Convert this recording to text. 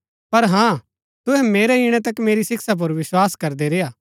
पर हाँ तुहै मेरै ईणै तक मेरी शिक्षा पुर विस्वास करदै रेय्आ